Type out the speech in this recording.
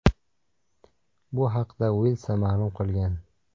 Bu haqda Wylsa ma’lum qilgan .